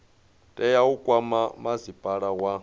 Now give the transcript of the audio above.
tea u kwama masipala wa